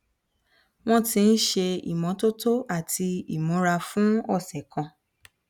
wọn ti ń ṣe ìmọtótó àti imura fún ọsẹ kan